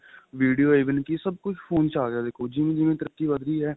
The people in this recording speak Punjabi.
video even ਕੀ ਸਭ ਕੁੱਝ phone ਚ ਆ ਗਿਆ ਦੇਖੋ ਜਿਵੇਂ ਜਿਵੇਂ ਤਰਕੀ ਵੱਧਦੀ ਏ